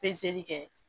Pezeli kɛ